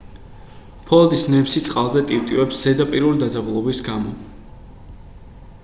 ფოლადის ნემსი წყალზე ტივტივებს ზედაპირული დაძაბულობის გამო